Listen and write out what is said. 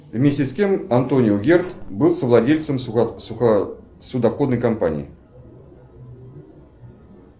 вместе с кем антонио герд был совладельцем судоходной компании